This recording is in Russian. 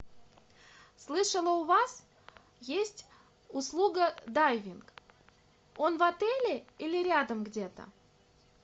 слышала у вас есть услуга дайвинг он в отеле или рядом где то